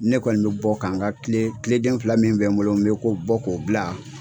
Ne kɔni bɛ bɔ ka n ka kile kile den fila min bɛ n bolo n bɛ ko bɔ k'o bila.